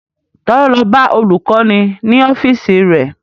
Ta ló lọ bá olùkọ́ni ní ọ́fíìsì rẹ̀?